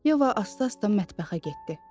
Yeva asta-asta mətbəxə getdi.